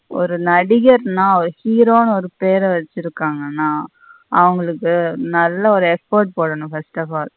ஒரு நடிகர்ன ஒரு hero னு ஒரு பெற வச்சிருகங்கான அவுங்களுக்கு நல்ல ஒரு effort போடணும் first of all.